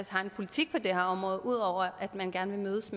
har en politik på det her område ud over at man gerne vil mødes